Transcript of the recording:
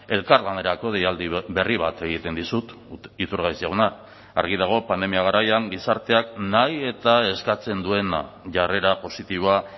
elkarlanerako deialdi berri bat egiten dizut iturgaiz jauna argi dago pandemia garaian gizarteak nahi eta eskatzen duena jarrera positiboa